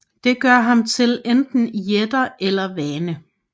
Det gør ham til enten jætte eller vane